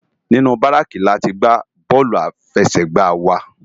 Ninú báráki látì n gbá bòlú áláfèsègbá wá